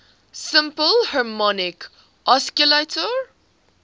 simple harmonic oscillator